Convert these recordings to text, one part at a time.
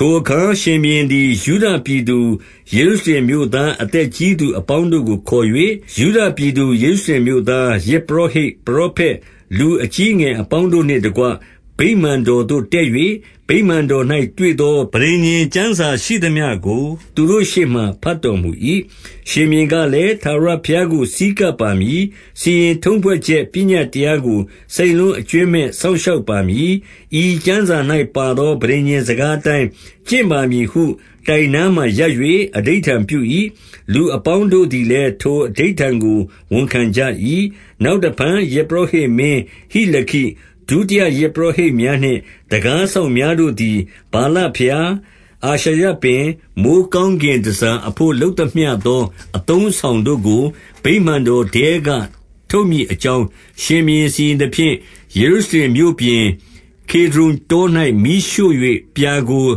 ထိုအခါရှင်ဘုရင်သည် ယုဒပြည်သူ ယေရု ရှလင်မြို့သား အသက်ကြီးသူအပေါင်းတို့ကို ခေါ်၍၊ 2 ယုဒပြည်သူယေရုရှလင်မြို့သား၊ ယဇ်ပုရော ဟိတ်၊ ပရောဖက်၊ လူအကြီးအငယ်အပေါင်းတို့နှင့်တကွ ဗိမာန်တော်သို့တက်၍၊ ဗိမာန်တော်၌ တွေ့သော ပဋိညာဉ်ကျမ်းစာရှိသမျှကို သူတို့ရှေ့မှာ ဘတ်တော်မူ၏။ 3 ရှင်ဘုရင်ကလည်း၊ ထာဝရဘုရားကို ဆည်းကပ် ပါမည်။ စီရင်ထုံးဖွဲ့ချက်ပညတ်တရားကို စိတ်နှလုံး အကြွင်းမဲ့စောင့်ရှောက်ပါမည်။ ဤကျမ်းစာ၌ပါသော ပဋိညာဉ်စကားအတိုင်း ကျင့်ပါမည်ဟု တိုင်နားမှာ ရပ်၍ အဓိဋ္ဌာန်ပြု၏။ လူအပေါင်းတို့သည်လည်း ထိုအဓိဋ္ဌာန်ကိုဝန်ခံကြ၏။ 4 နောက်တဖန်ယဇ်ပုရောဟိတ်မင်း ဟိလခိ၊ ဒုတိယယဇ် ပုရောဟိတ်များနှင့် တံခါးစောင့်များတို့သည် ဗာလဘုရား၊ အာရှရပင်၊ မိုဃ်းကောင်းကင် တန်ဆာအဘို့ လုပ်သမျှသော အသုံးအဆောင်တို့ကို ဗိမာန် တော်ထဲက ထုတ်မည်အကြောင်း ရှင်ဘုရင်စီရင်သဖြင့်၊ ယေရုရှလင် မြို့ပြင်၊ ကေဒြုန်တော၌ မီးရှို့၍ပြာကို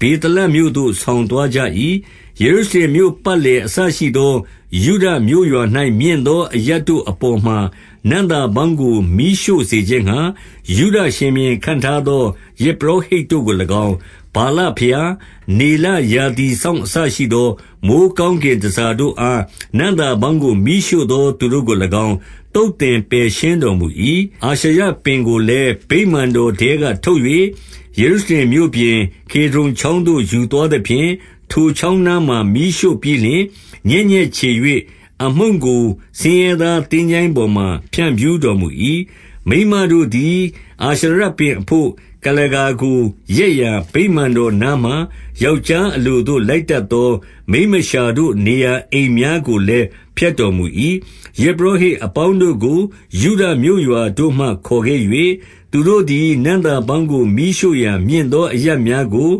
ဗေသလမြို့သို့ ဆောင်သွားကြ၏။ 5 ယေရုရှလင်မြို့ပတ်လည် အစရှိသော ယုဒမြို့ ရွာ၌ မြင့်သော အရပ်တို့အပေါ်မှာ နံ့သာပေါင်းကို မီးရှို့ စေခြင်းငှါ၊ ယုဒရှင်ဘုရင် ခန့်ထားသော ယဇ်ပုရောဟိတ် တို့ကို၎င်း၊ ဗာလဘုရား၊ နေလရာသီစောင့် အစရှိသော မိုဃ်းကောင်းကင်တန်ဆာတို့အား နံ့သာပေါင်းကို မီးရှို့ သော သူတို့ကို၎င်း၊ သုတ်သင်ပယ်ရှင်းတော်မူ၏။ 6 အာရှရပင်ကိုလည်း ဗိမာန်တော်ထဲကထုတ်၍ ယေရုရှလင်မြို့ပြင်၊ ကေဒြုန်ချောင်းသို့ ယူသွားသဖြင့်၊ ထိုချောင်းနားမှာ မီးရှို့ပြီးလျှင် ညက်ညက်ချေ၍၊ အမှုန့်ကို ဆင်းရဲသားသင်္ချိုင်းပေါ်မှာ ဖြန့်ဖြူးတော်မူ၏။ 7 မိန်းမတို့သည် အာရှရပင်အဘို့ ကုလားကာကို ရက်ရာအရပ် ဗိမာန်တော်နားမှာ ယောက်ျားအလိုသို့ လိုက်တတ်သော မိန်းမလျှာတို့ နေရာအိမ်များကိုလည်း ဖျက်တော်မူ၏။ 8 ယဇ်ပုရောဟိတ်အပေါင်းတို့ကို ယုဒမြို့ရွာတို့မှ မခေါ်ခဲ့၍၊ သူတို့သည် နံ့သာပေါင်းကိုမီးရှို့ရာမြင့်သော အရပ်များကို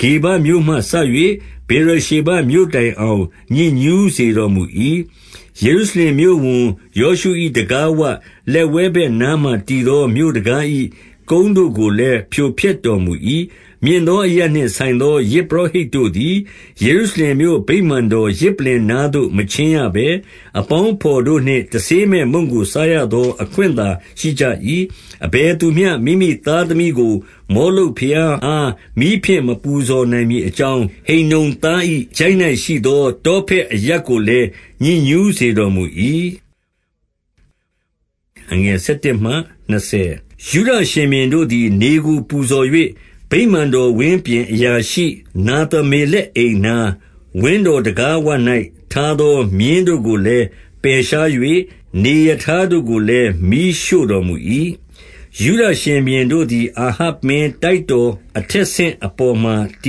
ဂေဗမြို့မှစ၍ ဗေရရှေဘမြို့တိုင်အောင် ညစ်ညှုးစေတော်မူ၏။ ယေရုရှလင်မြို့ဝန် ယောရှု၏ တံခါးဝလက်ဝဲဘက်နားမှာတည်သော မြို့တံခါး၏ ကုန်း တို့ကိုလည်း ဖြိုဖျက်တော်မူ၏။ 9 မြင့်သောအရပ်နှင့်ဆိုင်သော ယဇ်ပုရောဟိတ် တို့သည်၊ ယေရုရှလင်မြို့ဗိမာန်တော် ယဇ်ပလ္လင်နားသို့ မချဉ်းရဘဲ၊ အပေါင်းအဘော်တို့နှင့် တဆေးမဲ့မုန့်ကို စားရ သော အခွင့်သာရှိကြ၏။ 10 အဘယ်သူမျှ မိမိသားသမီးကို မောလုတ်ဘုရား အား မီးဖြင့် မပူဇော်နိုင်မည်အကြောင်း၊ ဟိန္နုံသား၏ ချိုင့်၌ရှိသော တောဖက်အရပ်ကိုလည်း ညစ်ညှုးစေတော် မူ၏။ 11 ယုဒရှင်ဘုရင်တို့သည် နေကိုပူဇော်၍၊ ဗိမာန် တော်ဝင်းပြင် အရာရှိနာသမ္မေလက်အိမ်နား၊ ဝင်းတော် တံခါးဝ၌ထားသော မြင်းတို့ကိုလည်း ပယ်ရှား၍ နေရထားတို့ကိုလည်း မီးရှို့တော်မူ၏။ 12 ယုဒရှင်ဘုရင်တို့သည် အာဟပ်မင်းတိုက်တော် အထက်ဆင့် အပေါ်မှာတ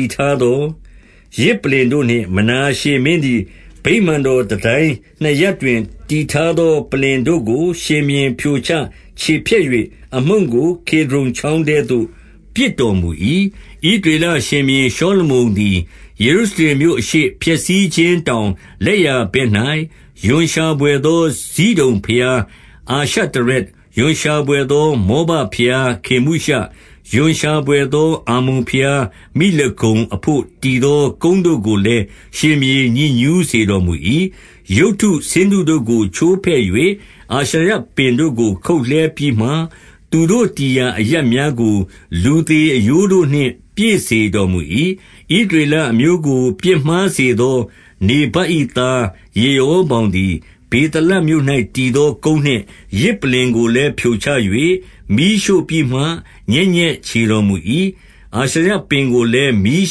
ည်ထားသော ယဇ်ပလ္လင်တို့နှင့် မနာရှေမင်းသည် ဗိမာန်တော်တန်တိုင်းနှစ်ရပ်တွင် တည်ထားသော ပလ္လင်တို့ကို ရှင်ဘုရင်ဖြိုချ ချေဖျက်၍ အမှုန့်ကို ကေဒြုန်ချောင်းထဲသို့ ပစ်တော်မူ၏။ 13 ဣသရေလရှင်ဘုရင်ရှောလမုန်သည် ယေရုရှလင်မြို့အရှေ့၊ ဖျက်ဆီးခြင်းတောင်လက်ျာဘက်၌ ရွံရှာဘွယ်သော ဇိဒုန်ဘုရားအာရှတရက်၊ ရွံရှာဘွယ် သော မောဘဘုရား ခေမုရှ၊ ရွံရှာဘွယ်သော အမ္မုန်ဘုရားမိလကုံအဘို့ တည်သော ကုန်းတို့ကို လည်း ရှင်ဘုရင် ညစ်ညှုးစေတော်မူ၏။ 14 ရုပ်တုဆင်းတုတို့ကို ချိုးဖဲ့၍ အာရှရပင်တို့ကို ခုတ်လှဲပြီးမှ၊ သူတို့တည်ရာအရပ်များကို လူသေအရိုးတို့ နှင့် ပြည့်စေတော်မူ၏။ 15 ဣသရေလအမျိုးကို ပြစ်မှားစေသော နေဗတ် ၏သား ယေရောဗောင်သည်၊ ဗေသလမြို့၌တည်သော ကုန်းနှင့် ယဇ်ပလ္လင်ကိုလည်း ဖြိုချ၍ မီးရှို့ပြီးမှ ညက် ညက်ခြေတော်မူ၏။ အာရှရပင်ကိုလည်း မီး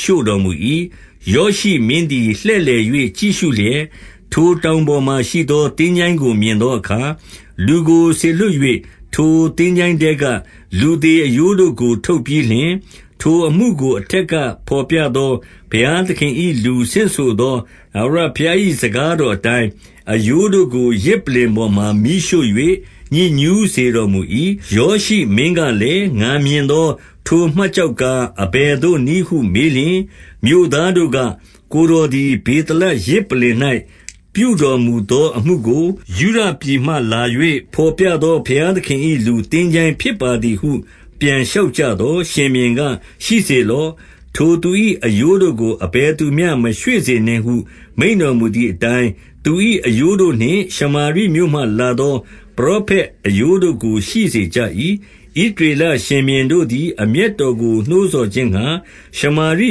ရှို့တော်မူ၏။ 16 ယောရှိမင်းသည် လှည့်လည်၍ ကြည့်ရှုလျက်၊ ထိုတောင်ပေါ်မှာရှိသော သင်္ချိုင်းကို မြင်သောအခါ၊ လူကို စေလွှတ်၍ ထိုသင်္ချိုင်းထဲက လူသေအရိုးတို့ကို ထုတ်ပြီး လျှင်၊ ထိုအမှုကို အထက်ကဘော်ပြသော ဘုရားသခင် ၏လူ ဆင့်ဆိုသော ထာဝရဘုရား၏ စကားတော်အတိုင်း၊ အရိုးတို့ကို ယဇ်ပလ္လင်ပေါ်မှာ မီးရှို့၍ညစ်ညူးစေတော် မူ၏။ 17 ယောရှိမင်းကလည်း၊ ငါမြင်သော ထိုမှတ် ကျောက်ကား အဘယ်သို့နည်းဟုမေးလျှင်၊ မြို့သားတို့က၊ ကိုယ်တော်သည် ဗေသလယဇ် ပလ္လင်၌ပြုတော်မူသော အမှုကို၊ ယုဒပြည်မှလာ၍ ဘော်ပြသော ဘုရားသခင်၏ လူသင်္ချိုင်းဖြစ်ပါသည်ဟု ပြန်လျှောက်ကြသော်၊ 18 ရှင်ဘုရင်က၊ ရှိစေလော့။ ထိုသူ၏အရိုးတို့ကို အဘယ်သူမျှ မရွှေ့စေနှင့်ဟု မိန့်တော်မူသည်အတိုင်း သူ၏ အရိုးတို့နှင့် ရှမာရိမြို့မှ လာသောပရောဖက်အရိုး တို့ကို ရှိစေကြ၏။ 19 ဣသရေလရှင်ဘုရင်တို့သည် အမျက်တော်ကို နှိုးဆော်ခြင်းငှါ၊ ရှမာရိ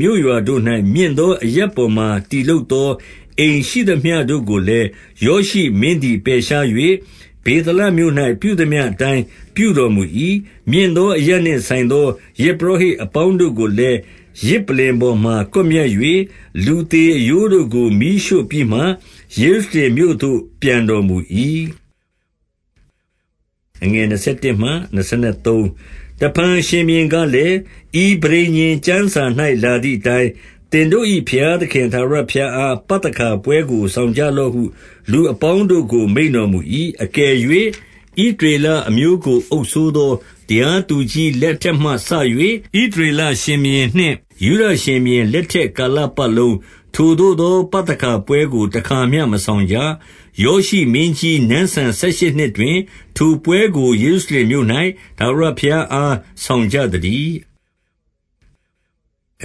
မြို့ရွာတို့၌ မြင့်သောအရပ်ပေါ်မှာ တည်လုပ်သောအိမ်ရှိသမျှတို့ကိုလည်း ယောရှိမင်းသည် ပယ်ရှား၍၊ ဗေသလမြို့၌ ပြုသမျှအတိုင်း ပြုတော်မူ၏။ 20 မြင့်သော အရပ်နှင့် ဆိုင်သောယဇ်ပုရောဟိတ် အပေါင်းတို့ကိုလည်း ယဇ်ပလ္လင်ပေါ်မှာ ကွပ်မျက်၍၊ လူသေအရိုးတို့ကို မီးရှို့ပြီးမှ ယေရုရှလင်မြို့သို့ ပြန်တော် မူ၏။ 21 တဖန်ရှင်ဘုရင်ကလည်း၊ ဤပဋိညာဉ်ကျမ်းစာ ၌လာသည်အတိုင်း၊ သင်တို့၏ဘုရားသခင်ထာဝရဘုရား အား ပသခါပွဲကို ဆောင်ကြလော့ဟု လူအပေါင်းတို့ကို မိန့်တော်မူ၏။ 22 အကယ်၍ ဣသရေလအမျိုးကို အုပ်စိုးသော တရားသူကြီးလက် ထက်မှစ၍၊ ဣသရေလရှင်ဘုရင်နှင့် ယုဒရှင်ဘုရင်လက်ထက် ကာလပတ်လုံး၊ ထိုသို့သော ပသခါပွဲကို တခါမျှမဆောင်ကြ။ 23 ယောရှိမင်းကြီးနန်းစံ ဆယ်ရှစ်နှစ်တွင် ထိုပွဲကို ယေရုရှလင်မြို့၌ ထာဝရဘုရားအား ဆောင်ကြသတည်း။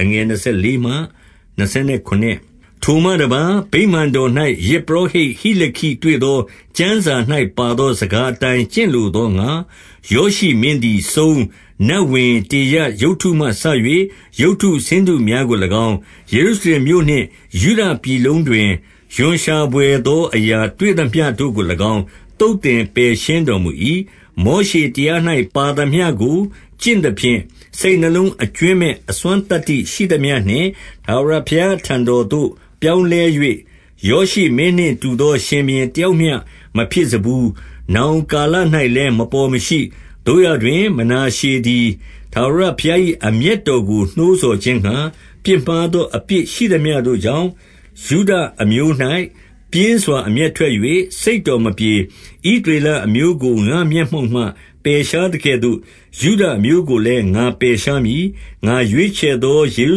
24 ထိုမှတပါး၊ ဗိမာန်တော်၌ ယဇ်ပုရောဟိတ် ဟိလ ခိတွေ့သော ကျမ်းစာ၌ပါသော စကားအတိုင်း ကျင့်လို သောငှါ၊ ယောရှိမင်းသည် စုန်း၊ နတ်ဝင်၊ တေရပ် ရုပ်တုမှ စ၍ ရုပ်တုဆင်းတုများကို၎င်း၊ ယေရုရှလင်မြို့နှင့် ယုဒ ပြည်လုံးတွင် ရွံရှာဘွယ်သောအရာ တွေ့သမျှတို့ကို၎င်း၊ သုတ်သင် ပယ်ရှင်းတော်မူ၏။ 25 မောရှေတရား၌ ပါသမျှကို ကျင့်သဖြင့်၊ စိတ် နှလုံး အကြွင်းမဲ့အစွမ်းသတ္တိရှိသမျှနှင့် ထာဝရဘုရား အထံတော်သို့ ပြောင်းလဲ၍၊ ယောရှိမင်းနှင့်တူသော ရှင်ဘုရင်တယောက်မျှ မဖြစ်စဖူး။ နောင်ကာလ၌လည်း မပေါ်မရှိ။ 26 သို့ရာတွင် မနာရှေသည် ထာဝရဘုရား၏ အမျက်တော်ကို နှိုးဆော်ခြင်းငှါ၊ ပြစ်မှားသော အပြစ် ရှိသမျှတို့ကြောင့်၊ ယုဒအမျိုး၌ ပြင်းစွာ အမျက်ထွက်၍ စိတ်တော်မပြေ။ 27 ဣသရေလအမျိုးကို ငါ့မျက်မှောက်မှ ပယ်ရှား သကဲ့သို့ ယုဒအမျိုးကိုလည်း ငါပယ်ရှားမည်။ ငါရွေးချယ် သော ယေရု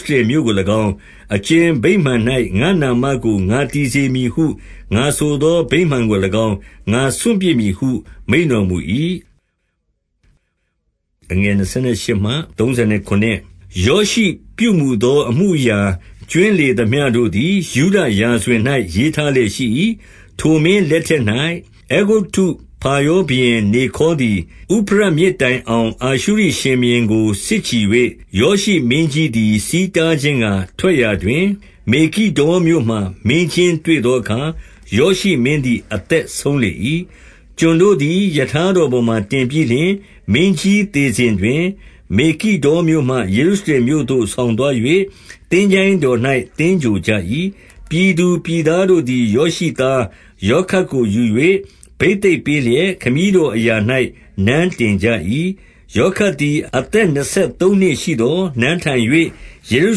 ရှလင်မြို့ကို၎င်း၊ အကြင်ဗိမာန်၌ငါ့နာမကို ငါတည်စေမည်ဟု ငါဆိုသော ဗိမာန်ကို၎င်း၊ ငါစွန့်ပစ် မည်ဟု မိန့်တော်မူ၏။ 28 ယောရှိပြုမူသော အမှုအရာကြွင်းလေသမျှတို့ သည် ယုဒရာဇဝင်၌ ရေးထားလျက်ရှိ၏။ 29 ထိုမင်းလက်ထက်၌ အဲဂုတ္တု ဖာရောဘုရင် နေခေါသည် ဥဖရတ်မြစ်တိုင်အောင် အာရှုရိရှင်ဘုရင်ကို စစ်ချီ၍၊ ယောရှိမင်းကြီးသည် ဆီးတားခြင်းငှါ ထွက်ရာ တွင်၊ မေဂိဒ္ဒေါမြို့မှာ မင်းချင်းတွေ့သောအခါ၊ ယောရှိမင်း သည် အသက်ဆုံးလေ၏။ 30 ကျွန်တို့သည် ရထားတော်ပေါ်မှာ တင်ပြီးလျှင်၊ မင်းကြီးသေစဉ်တွင် မေဂိဒ္ဒေါမြို့မှ ယေရုရှလင်မြို့သို့ ဆောင်သွား၍ သင်္ချိုင်းတော်၌ သင်္ဂြိုဟ်ကြ၏။ ပြည်သူ ပြည်သားတို့သည် ယောရှိသားယောခတ်ကို ယူ၍ဘိသတ် ပေးလျက် ခမည်းတော်အရာ၌ နန်းတင်ကြ၏။ 31 ယောခတ်သည် အသက်နှစ်ဆယ်သုံးနှစ်ရှိသော်၊ နန်းထိုင်၍ ယေရု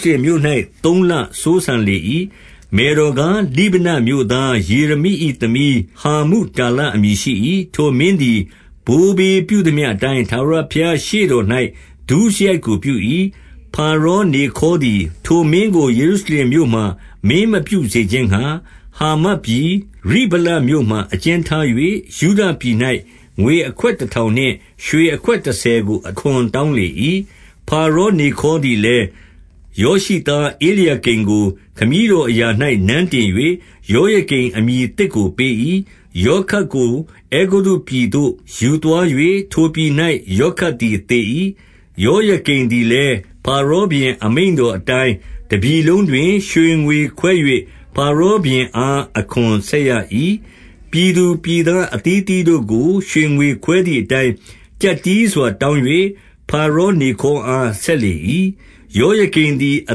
ရှလင်မြို့၌ သုံးလစိုးစံလေ၏။ မယ်တော်ကား၊ လိဗနမြို့သား ယေရမိ၏ သမီးဟာမုတာလ အမည်ရှိ၏။ 32 ထိုမင်းသည် ဘိုးဘေးပြုသမျှအတိုင်း ထာဝရ ဘုရား ရှေ့တော်၌ ဒုစရိုက်ကိုပြု၏။ 33 ဖာရောနေခေါသည် ထိုမင်းကို ယေရုရှလင် မြို့မှာ မင်းမပြုစေခြင်းငှါ ဟာမတ်ပြည်၊ ရိဗလမြို့မှာ အကျဉ်းထား၍၊ ယုဒပြည်၌ ငွေအခွက်တထောင်နှင့် ရွှေအခွက် တဆယ်ကိုအခွန် တောင်းလေ၏။ 34 ဖာရော နေခေါသည်လည်း၊ ယောရှိသား ဧလျာ ကိမ်ကို ခမည်းတော်အရာ၌ နန်းတင်၍ ယောယကိမ် အမည်သစ်ကိုပေး၏။ ယောခတ်ကို အဲဂုတ္တု ပြည်သို့ယူသွား၍ ထိုပြည်၌ ယောခတ်သည်သေ၏။ 35 ယောယကိမ်သည်လည်း ဖာရောဘုရင် အမိန့် တော်အတိုင်း၊ တပြည်လုံးတွင် ရွှေငွေခွဲ၍ ဖာရောဘုရင် အား အခွန်ဆက်ရ၏။ ပြည်သူပြည်သား အသီးအသီး တို့ကို ရွှေငွေခွဲသည်အတိုင်း၊ ကျပ်တည်းစွာ တောင်း၍ ဖာရောနေခေါအား ဆက်လေ၏။ 36 ယောယကိမ်သည် အ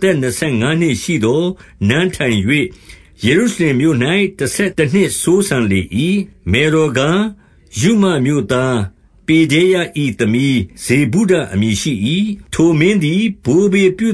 သက်နှစ်ဆယ်ငါးနှစ် ရှိသော် နန်းထိုင်၍ ယေရုရှလင်မြို့၌ တဆယ်တနှစ် စိုးစံလေ၏။ မယ်တော်ကား၊ ရုမမြို့သား ပေဒဲယ၏သမီး ဇေဗုဒအမည်ရှိ၏။ 37 ထိုမင်းသည် ဘိုးဘေးပြုသ